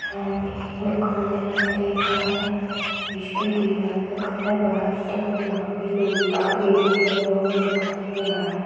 यहाँ पे माकान दिखाई दे रहा है इसके दीवाल का कलर यहाँ पर लोहे का गेट भी लगा हुआ दिखाई दे रहा है।